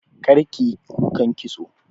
Kar kiyi kukan kitso!